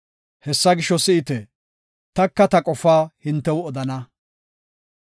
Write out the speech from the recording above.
Hessa gisho, si7ite; taka ta qofaa hintew odana.